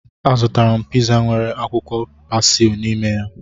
Azụtara m piza nwere akwụkwọ pasli n'ime ya